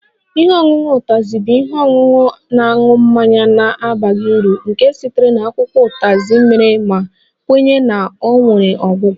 Ihe ọṅụṅụ Utazi bụ ihe ọṅụṅụ na-aṅụ mmanya na-abaghị uru nke sitere na akwụkwọ Utazi mere ma kwenye na ọ nwere ọgwụ ọgwụ